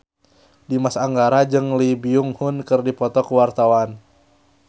Dimas Anggara jeung Lee Byung Hun keur dipoto ku wartawan